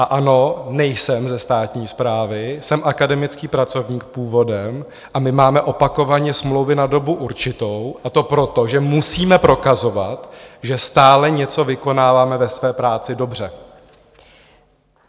A ano, nejsem ze státní správy, jsem akademický pracovník původem a my máme opakovaně smlouvy na dobu určitou, a to proto, že musíme prokazovat, že stále něco vykonáváme ve své práci dobře.